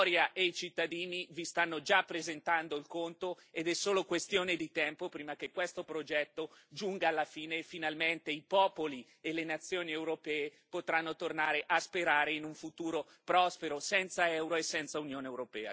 La storia e i cittadini vi stanno già presentando il conto ed è solo questione di tempo prima che questo progetto giunga alla fine e finalmente i popoli e le nazioni europee potranno tornare a sperare in un futuro prospero senza Euro e senza Unione europea.